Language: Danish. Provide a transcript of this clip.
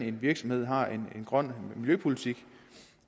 en virksomhed har en grøn miljøpolitik